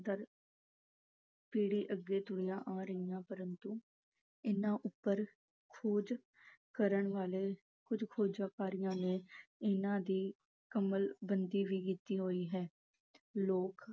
ਦਰ ਪੀੜ੍ਹੀ ਅੱਗੇ ਤੁਰੀਆਂ ਆ ਰਹੀਆਂ ਪਰੰਤੂ ਇਹਨਾਂ ਉੱਪਰ ਖੋਜ ਕਰਨ ਵਾਲੇ ਕੁੱਝ ਖੋਜਕਾਰੀਆਂ ਨੇ ਇਹਨਾਂ ਦੀ ਕਲਮਬੰਦੀ ਵੀ ਕੀਤੀ ਹੋਈ ਹੈ। ਲੋਕ